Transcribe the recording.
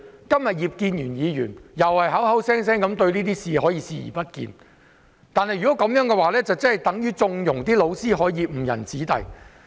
今天葉建源議員再次表現出他對這些事視而不見，這樣等同縱容教師誤人子弟。